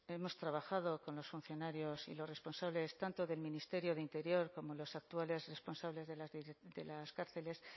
hemos trabajado con los funcionarios y los responsables tanto del ministerio de interior como los actuales responsables de las cárceles